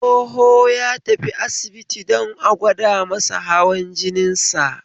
Tsoho ya tafi asibiti don a gwada masa hawan jinin sa